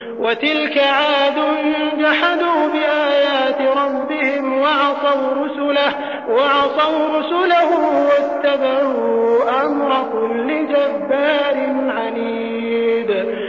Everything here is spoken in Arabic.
وَتِلْكَ عَادٌ ۖ جَحَدُوا بِآيَاتِ رَبِّهِمْ وَعَصَوْا رُسُلَهُ وَاتَّبَعُوا أَمْرَ كُلِّ جَبَّارٍ عَنِيدٍ